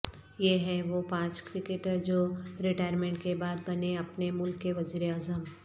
یہ ہیں وہ پانچ کرکٹر جو ریٹائرمنٹ کے بعد بنے اپنے ملک کے وزیر اعظم